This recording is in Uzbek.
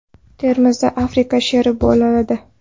Termizda Afrika sheri bolaladi.